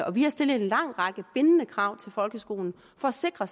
og vi har stillet en lang række bindende krav til folkeskolen for at sikre